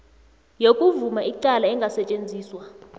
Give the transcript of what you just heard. yokuvuma icala engasetjenziswa